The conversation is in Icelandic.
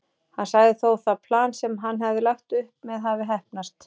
Hann sagði þó það plan sem hann hafði lagt upp með hafa heppnast.